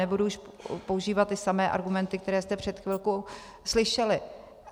Nebudu už používat ty samé argumenty, které jste před chvilkou slyšeli.